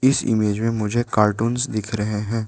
इस इमेज में मुझे कार्टून्स दिख रहे हैं।